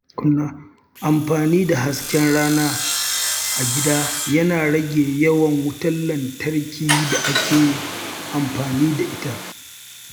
Amfani da hasken rana a gida yana rage yawan wutar lantarkin da ake amfani da ita.